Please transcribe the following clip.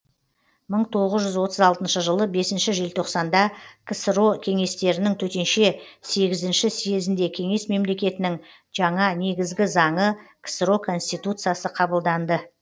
мың тоғыз жүз отыз алтыншы жылы бесінші желтоқсанда ксро кеңестерінің төтенше сегізінші съезінде кеңес мемлекетінің жаңа негізгі заңы ксро конституциясы қабылданды